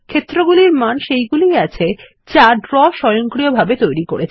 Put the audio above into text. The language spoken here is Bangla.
ক্ষেত্র গুলির মান সেইগুলি ই আছে যা ড্র স্বয়ংক্রিয়ভাবে উৎপন্ন করে